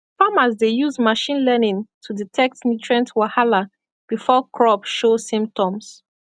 farmers dey use machine learning to detect nutrient wahala before crop show symptoms